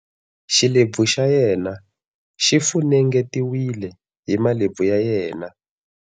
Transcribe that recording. Xilebvu xa yena xi funengetiwile hi malebvu ya yena.